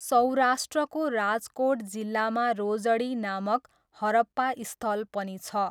सौराष्ट्रको राजकोट जिल्लामा रोजडी नामक हरप्पा स्थल पनि छ।